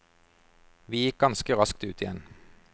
Vi gikk ganske raskt ut igjen.